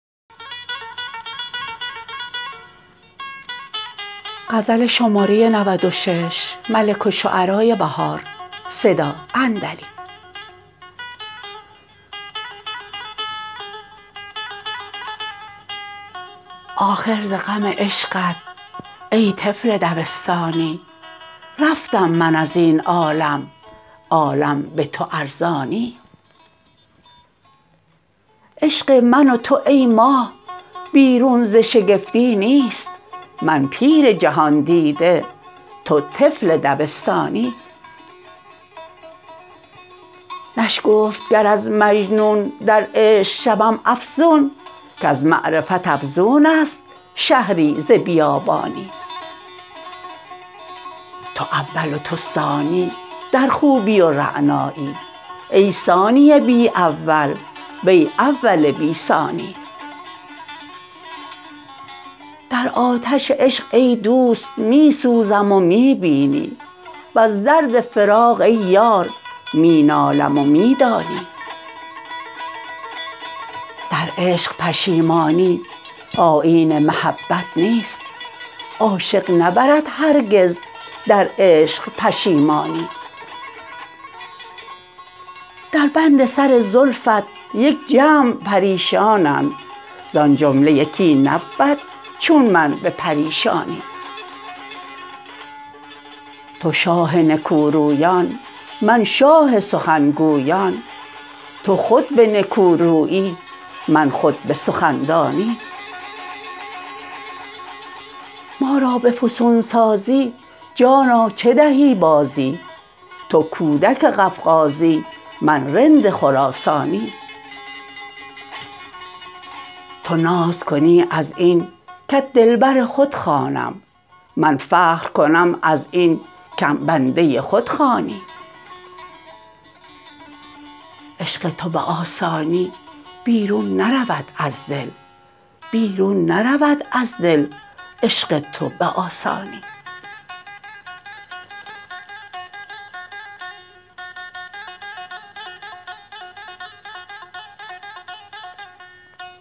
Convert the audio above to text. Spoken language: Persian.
آخر زغم عشقت ای طفل دبستانی رفتم من از این عالم عالم به تو ارزانی عشق من و تو ای ماه بیرون ز شگفتی نیست من پیر جهان دیده تو طفل دبستانی نشگفت گر از مجنون در عشق شوم افزون کز معرفت افزون است شهری ز بیابانی تو اول و تو ثانی در خوبی و رعنایی ای ثانی بی اول وی اول بی ثانی درآتش عشق ای دوست می سوزم و می بینی وز درد فراق ای یار می نالم و می دانی در عشق پشیمانی آیین محبت نیست عاشق نبرد هرگز در عشق پشیمانی در بند سر زلفت یک جمع پریشانند زان جمله یکی نبود چون من به پریشانی تو شاه نکوروبان من شاه سخن گوبان تو خود به نکورویی من خود به سخندانی ما را به فسون سازی جانا چه دهی بازی تو کودک قفقازی من رند خراسانی تو ناز کنی از این کت دلبر خود خوانم من فخر کنم از این کم بنده خود خوانی عشق تو به آسانی بیرون نرود از دل بیرون نرود از دل عشق تو به آسانی